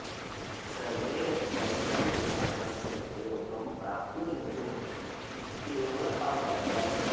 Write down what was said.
सर्वे अपि कष्टं विना तस्य उपयोगं प्राप्नुयुः इत्येव अवदत्